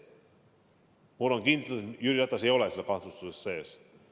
Aga ma olen kindel, et Jüri Ratas ei ole selles kahtlustuses sees.